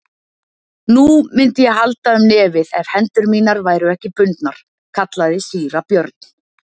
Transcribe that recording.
Nú, mundi ég halda um nefið ef hendur mínar væru ekki bundnar, kallaði síra Björn.